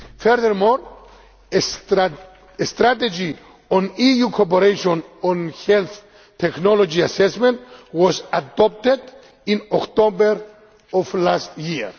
Furthermore, a strategy on EU cooperation on health technology assessment was adopted in October of last year.